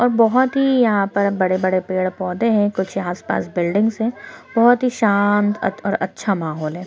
और बहोत ही यहाँ पर बड़े-बड़े पेड़ पौधे हैं कुछ यहाँ आस-पास बिल्डिंग्स है बोहोत ही शांत अत और अच्छा माहौल है ।